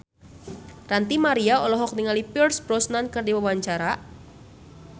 Ranty Maria olohok ningali Pierce Brosnan keur diwawancara